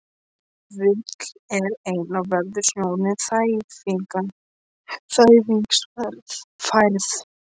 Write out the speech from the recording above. Vill vera einn og veður snjóinn, þæfingsfærð